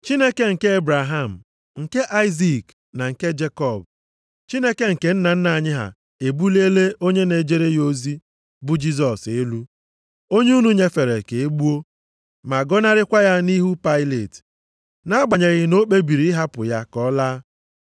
Chineke nke Ebraham, nke Aịzik na nke Jekọb, Chineke nke nna anyị ha, ebuliela onye na-ejere ya ozi, bụ Jisọs elu, onye unu nyefere ka e gbuo, ma gọnarịkwa ya nʼihu Pailet, nʼagbanyeghị na o kpebiri ịhapụ ya ka ọ laa.